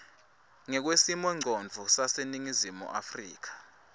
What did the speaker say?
ngekwesimongcondvo saseningizimu afrika